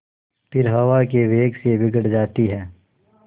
फिर हवा के वेग से बिगड़ जाती हैं